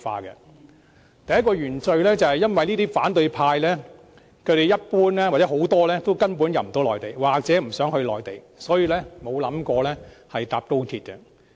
他們第一個原罪，是反對派一般無法回內地或不想回內地，所以他們沒有想過乘搭高鐵。